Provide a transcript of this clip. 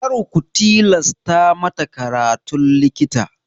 Kar ku tilasta mata karatun likita!